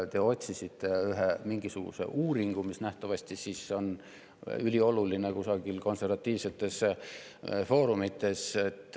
Te otsisite välja ühe mingisuguse uuringu, mis nähtavasti on ülioluline kusagil konservatiivsetes foorumites.